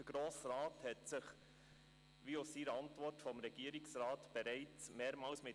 Der Grosse Rat hat sich bereits mehrmals mit der Thematik befasst, wie aus der Antwort vom Regierungsrat hervorgeht.